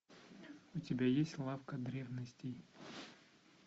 у тебя есть лавка древностей